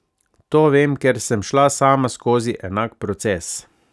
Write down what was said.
To vem, ker sem šla sama skozi enak proces.